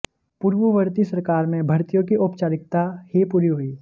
पूर्ववर्ती सरकार में भर्तियों की औपचारिकता ही पूरी हुई